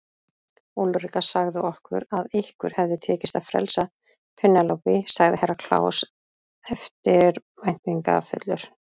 Úlrika sagði okkur að ykkur hafi tekist að frelsa Penélope, sagði Herra Kláus eftirbæntingafullur.